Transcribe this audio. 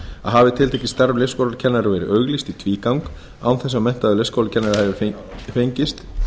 að hafi tiltekið starf leikskólakennara verið auglýst í tvígang án þess að menntaður leikskólakennari hafi fengist